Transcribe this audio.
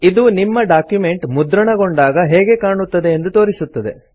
ಇದು ನಿಮ್ಮ ಡಾಕ್ಯುಮೆಂಟ್ ಮುದ್ರಣಗೊಂಡಾಗ ಹೇಗೆ ಕಾಣುತ್ತದೆ ಎಂದು ತೋರಿಸುತ್ತದೆ